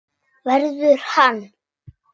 Verður hann.